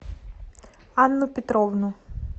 анну петровну